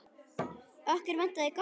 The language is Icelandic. Okkur vantar gott heiti.